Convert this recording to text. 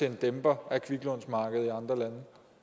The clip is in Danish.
en dæmper på kviklånsmarkedet i andre lande